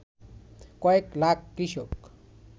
কয়েক লাখ কৃষক